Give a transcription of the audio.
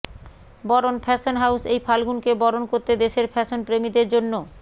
বরণ fashion house এই ফাল্গুনকে বরণ করতে দেশের ফ্যাশন প্রেমীদের জন্য